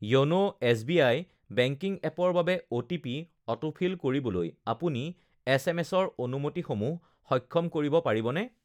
YONO SBI. Banking এপৰ বাবে OTP autofill কৰিবলৈ আপুনি এছ. এম. এছৰ অনুমতিসমূহ সক্ষ সক্ষম কৰিব পাৰিবনে